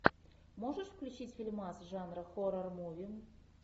можешь включить фильмас жанра хоррор муви